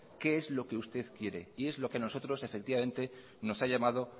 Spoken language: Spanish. qué es lo que usted quiere y es lo que a nosotros efectivamente nos ha llamado